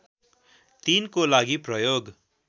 ३ को लागि प्रयोग